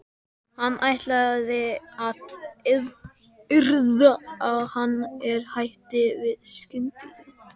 Hann ætlaði að yrða á hann en hætti því skyndilega.